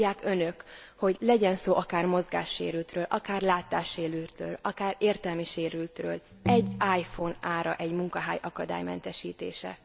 Tudják Önök, hogy legyen szó akár mozgássérültről, akár látássérültről, akár értelmi sérültről, egy iPhone ára egy munkahely akadálymentesítése.